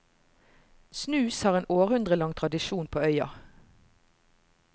Snus har en århundrelang tradisjon på øya.